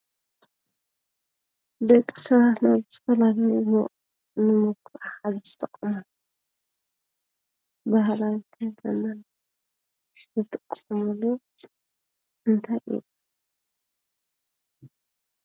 ደቂ ሰባት ናብ ዝተፈላለዩ ንምጉ ንምጉዕዓዝ ዝጥቀሙሉ ባህላዊ ከተማ ዝጥቀምሉ እንታይ እዩ?